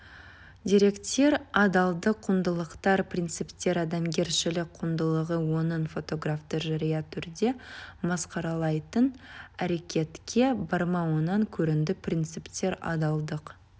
деректер адалдық құндылықтар принциптер адамгершілік құндылығы оның фотографты жария түрде масқаралайтын әрекетке бармауынан көрінді принциптер адалдық